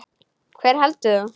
Hver heldur þú?